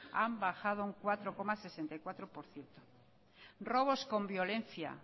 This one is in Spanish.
han bajado un cuatro coma sesenta y cuatro por ciento robos con violencia